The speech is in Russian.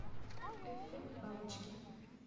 эффект бабочки